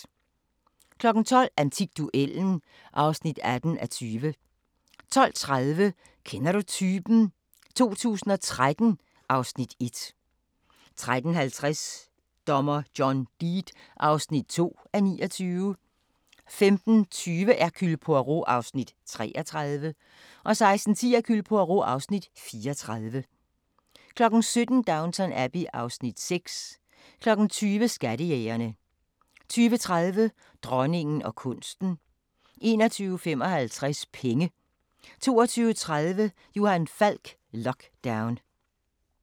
12:00: Antikduellen (18:20) 12:30: Kender du typen? 2013 (Afs. 1) 13:50: Dommer John Deed (2:29) 15:20: Hercule Poirot (Afs. 33) 16:10: Hercule Poirot (Afs. 34) 17:00: Downton Abbey (Afs. 6) 20:00: Skattejægerne 20:30: Dronningen og kunsten 21:55: Penge 22:30: Johan Falk: Lockdown